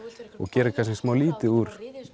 gerðu kannski lítið úr